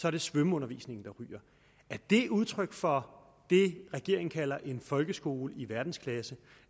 er det svømmeundervisningen der ryger er det udtryk for det regeringen kalder en folkeskole i verdensklasse